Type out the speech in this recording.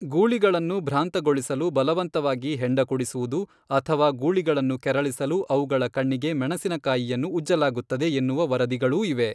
ಗೂಳಿಗಳನ್ನು ಭ್ರಾಂತಗೊಳಿಸಲು ಬಲವಂತವಾಗಿ ಹೆಂಡ ಕುಡಿಸುವುದು ಅಥವಾ ಗೂಳಿಗಳನ್ನು ಕೆರಳಿಸಲು ಅವುಗಳ ಕಣ್ಣಿಗೆ ಮೆಣಸಿನಕಾಯಿಯನ್ನು ಉಜ್ಜಲಾಗುತ್ತದೆ ಎನ್ನುವ ವರದಿಗಳೂ ಇವೆ.